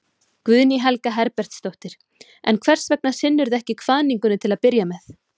Guðný Helga Herbertsdóttir: En hvers vegna sinntirðu ekki kvaðningunni til að byrja með?